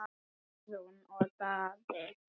Guðrún og Daði.